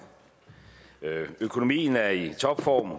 økonomien er i topform